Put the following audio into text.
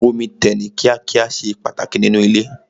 Omi tẹ̀ ní kíá kíá ṣe pàtàkì nínú ilé.